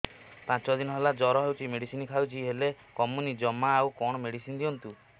ପାଞ୍ଚ ଦିନ ହେଲା ଜର ହଉଛି ମେଡିସିନ ଖାଇଛି ହେଲେ କମୁନି ଜମା ଆଉ କଣ ମେଡ଼ିସିନ ଦିଅନ୍ତୁ